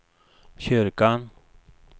kyrkan